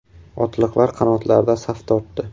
Otliqlar qanotlarda saf tortdi.